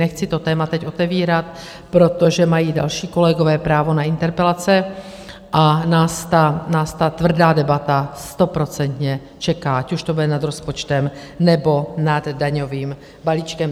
Nechci to téma teď otevírat, protože mají další kolegové právo na interpelace a nás ta tvrdá debata stoprocentně čeká, ať už to bude nad rozpočtem, nebo nad daňovým balíčkem.